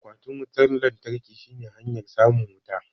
Akwatin wutan lantarkin shine hanyar samun wuta